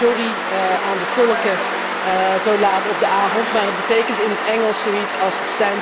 Sorry aan de tolken zo laat op de avond, maar het betekent in het Engels zoiets als